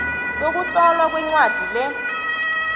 sokutlolwa kwencwadi le